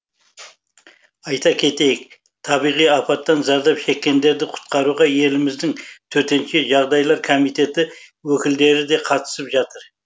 айта кетейік табиғи апаттан зардап шеккендерді құтқаруға еліміздің төтенше жағдайлар комитеті өкілдері де қатысып жатыр